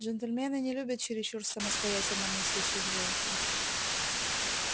джентльмены не любят чересчур самостоятельно мыслящих женщин